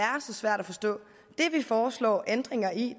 så svært at forstå det vi foreslår ændringer i